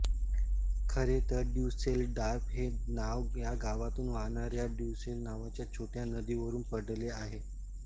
खरेतर ड्युसेलडॉर्फ हे नाव या गावातून वाहणाऱ्या ड्युसेल नावाच्या छोट्या नदीवरुन पडले आहे